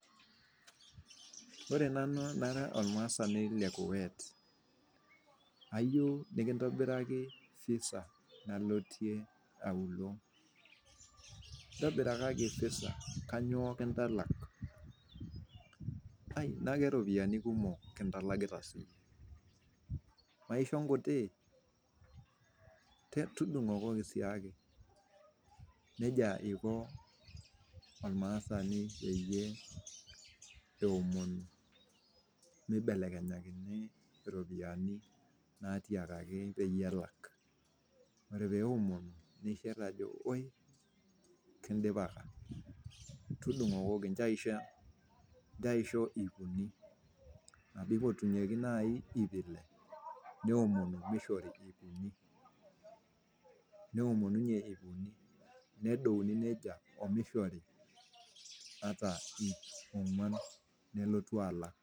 Ore nanu nara olmaasani le Kuwait ayeu nikintobiraki Visa nalotie aulo, ntobirakaaki visa nayioo kintalak, najo iropiyiani kumok kintalakita sii, maisho nkutii, tudung'okooki siake, neja eiko olmaasani peiye eomonu meibelekenyakini iropiyiani natiakaki peiye elak, ore peomonu neishir jo woii kindipakaka, tudung'okooki incho aisho iip uni nebaki etumoki naii iip ile, neomonu meishori iip unii, neomonu ninye iip uni, nedouni neja omeishori ata iip ong'wan nelotu alak.